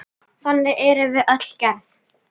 Þannig erum við öll gerð.